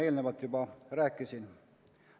Sellest ma juba rääkisin.